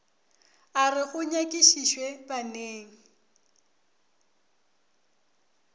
a re go nyakišišwe baneng